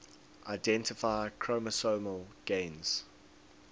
identify chromosomal gains